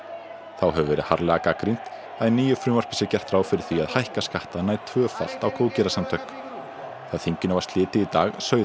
þá hefur verið harðlega gagnrýnt að í nýju frumvarpi sé gert ráð fyrir því að hækka skatta nær tvöfalt á góðgerðasamtök þegar þinginu var slitið í dag sauð